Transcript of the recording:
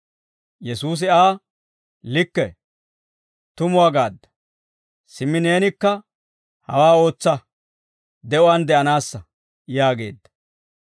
Yesuusi Aa, «Likke, tumuwaa gaadda; simmi neenikka hawaa ootsa; de'uwaan de'anaassa» yaageedda.